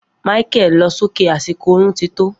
Micheal lo so ke, asiko orun ti tó